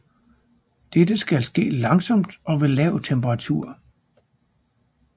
Dette skal ske langsomt og ved lav temperatur